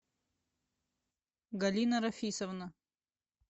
галина рафисовна